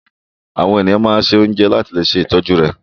Àwọn ènìyàn máa sun oúnjẹ láti le ṣe ìtọ́jú rẹ̀.